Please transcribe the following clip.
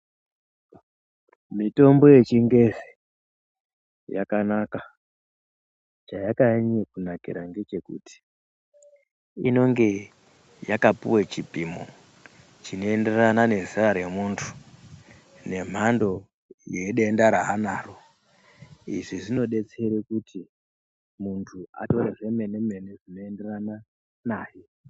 Mitombo yechingezi yakanaka. Chayakanyanya Kunakira ngechekuti inoge yakapuwe chipimo chinoenderana nezera remuntu nemhando yedenda ranaro. Izvi zvinodetsera kuti muntu atore zvemene-mene zvinoenderana naye.